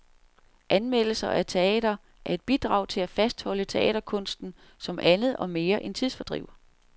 Anmeldelser af teater er et bidrag til at fastholde teaterkunsten som andet og mere end tidsfordriv.